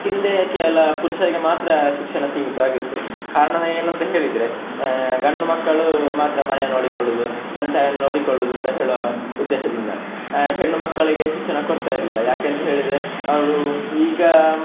ಹಿಂದೆ ಕೇವಲ ಪುರುಷರಿಗೆ ಮಾತ್ರ ಶಿಕ್ಷಣ ಸೀಮಿತವಾಗಿತ್ತು ಕಾರಣ ಏನಂತ ಹೇಳಿದ್ರೆ, ಆಹ್ ಗಂಡು ಮಕ್ಕಳು ಮಾತ್ರ ಮನೆ ನೋಡಿಕೊಳ್ಳುದು, ತಂದೆ ತಾಯನ್ನು ನೋಡಿಕೊಳ್ಳುದು ಅಂತ ಹೇಳುವ ಉದ್ದೇಶದಿಂದ, ಆಹ್ ಹೆಣ್ಣು ಮಕ್ಕಳಿಗೆ ಶಿಕ್ಷಣ ಕೊಡ್ತ ಇರ್ಲಿಲ್ಲ ಯಾಕೆಂತ ಹೇಳಿದ್ರೆ ಅವ್ರು ಈಗ.